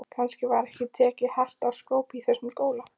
Kannski var ekki tekið hart á skrópi í þessum skóla.